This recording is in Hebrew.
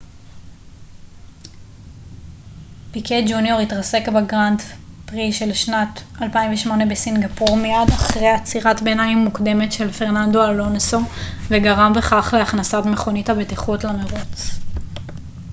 פיקה ג'וניור התרסק בגרנד פרי של שנת 2008 בסינגפור מיד אחרי עצירת ביניים מוקדמת של פרננדו אלונסו וגרם בכך להכנסת מכונית הבטיחות למרוץ